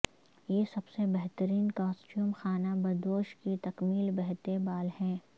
یہ سب سے بہترین کاسٹیوم خانہ بدوش کی تکمیل بہتے بال ہے